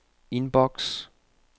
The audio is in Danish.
inbox